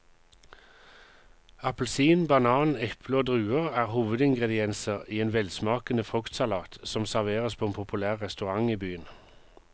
Appelsin, banan, eple og druer er hovedingredienser i en velsmakende fruktsalat som serveres på en populær restaurant i byen.